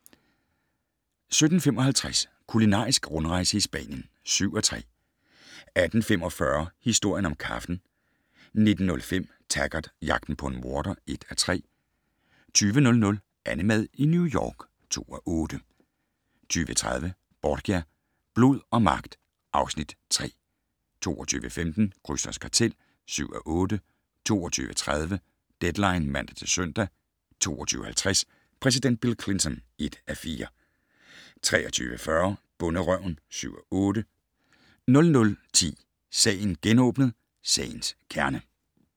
17:55: Kulinarisk rundrejse i Spanien (7:13) 18:45: Historien om kaffen 19:05: Taggart: Jagten på en morder (1:3) 20:00: AnneMad i New York (2:8) 20:30: Borgia - blod og magt (Afs. 3) 22:15: Krysters kartel (7:8) 22:30: Deadline (man-søn) 22:50: Præsident Bill Clinton (1:4) 23:40: Bonderøven (7:8) 00:10: Sagen genåbnet: Sagens kerne